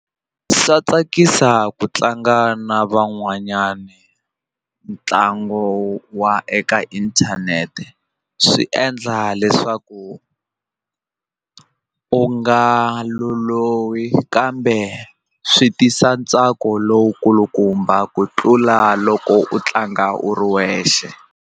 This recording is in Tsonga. Swa tsakisa ku tlanga na van'wanyana ntlangu wa eka inthanete swi endla leswaku u nga lolohi kambe swi tisa ntsako lowu kulukumba ku tlula loko u tlanga u ri wexe.